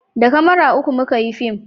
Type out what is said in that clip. da kamara uku muka yi fim